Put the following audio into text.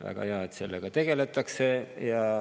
Väga hea, et sellega tegeldakse.